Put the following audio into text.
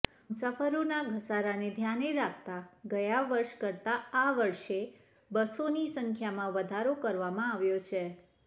મુસાફરોના ધસારાને ધ્યાને રાખતા ગયા વર્ષ કરતા આ વર્ષે બસોની સંખ્યામાં વધારો કરવામાં આવ્યો છે